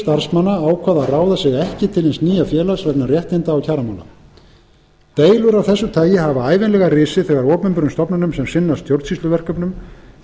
að ráða sig ekki til hins nýja félags vegna réttinda og kjaramála deilur af þessu tagi hafa ævinlega risið þegar opinberum stofnunum sem sinna stjórnsýsluverkefnum